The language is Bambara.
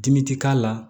Dimi ti k'a la